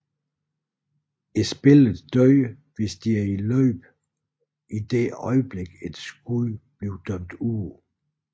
Spillere dør hvis de er i løb idet øjeblik et skud der bliver dømt ude